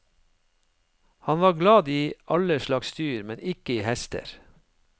Han var glad i alle slags dyr, men ikke i hester.